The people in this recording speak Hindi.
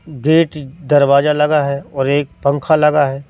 गेट दरवाजा लगा है और एक पंख लगा है।